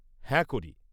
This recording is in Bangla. হ্যাঁ, করি।